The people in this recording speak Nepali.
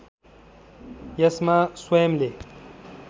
यसमा स्वयम्‌ले